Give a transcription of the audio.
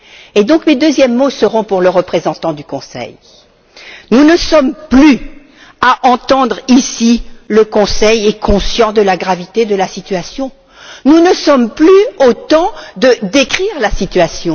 Et donc mes deuxièmes mots seront pour le représentant du Conseil. Nous n'en sommes plus à entendre ici le Conseil est conscient de la gravité de la situation. Nous ne sommes plus au temps de décrire la situation.